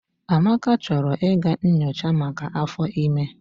Amaka chọrọ ịga nyochaa maka áfọ́ ịme.